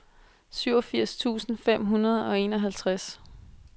syvogfirs tusind fem hundrede og enoghalvtreds